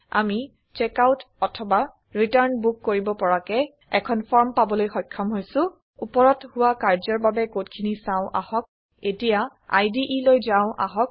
আমি চেকআউট অথবা return book কৰিব পৰাকৈ এখন ফৰ্ম পাবলৈ সক্ষম হৈছো ওপৰত হোৱা কাৰ্য্যৰ বাবে কড খিনি চাওঁ আহক এতিয়া ইদে লৈ যাও আহক